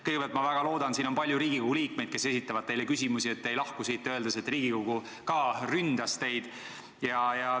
Kõigepealt, ma väga loodan – siin on palju Riigikogu liikmeid, kes esitavad teile küsimusi –, et te ei lahku siit öeldes, et ka Riigikogu ründas teid.